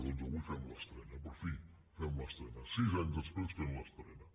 doncs avui fem l’estrena per fi fem l’estrena sis anys després fem l’estrena